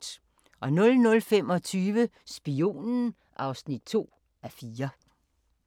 00:25: Spionen (2:4)